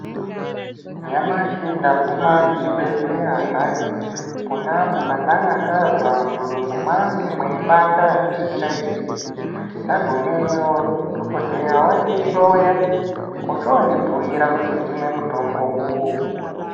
Nyamashi ndaguma kuchibhedhleya hayi pona apo pandanga ndazwa mudumbu mwangu mweipanda zvisingaiti. Ndagumeyo dhokodheya wandihloya, ochoondibhuira kuti ndimwe mutombo uyu.